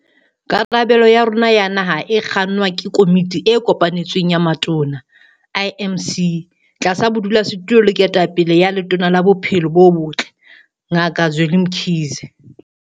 Karabelo ya rona ya naha e kgannwa ke Komiti e Kopanetsweng ya Matona, IMC, tlasa bodulasetulo le ketapele ya Letona la Bophelo bo Botle, Ngaka Zweli Mkhize.